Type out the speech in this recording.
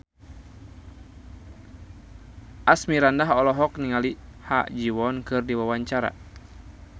Asmirandah olohok ningali Ha Ji Won keur diwawancara